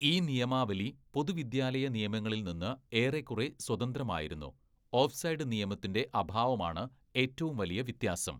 ഈ നിയമാവലി പൊതുവിദ്യാലയ നിയമങ്ങളിൽ നിന്ന് ഏറെക്കുറെ സ്വതന്ത്രമായിരുന്നു, ഓഫ്‌സൈഡ് നിയമത്തിന്റെ അഭാവമാണ് ഏറ്റവും വലിയ വ്യത്യാസം.